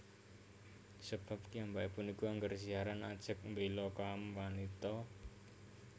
Sebab kiyambake punika angger siaran ajeg mbela kaum wanita